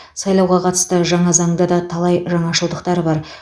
сайлауға қатысты жаңа заңда да талай жаңашылдықтар бар